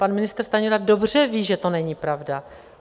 pan ministr Stanjura dobře ví, že to není pravda.